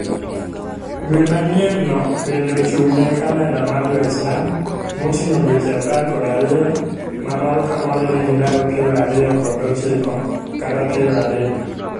Dwe manyienno bende ochung'ne kalenda mar Jo-Islam, moting'o dweche apar kod ariyo ma moro ka moro nigi ndalo piero ariyo kod ochiko kata piero adek.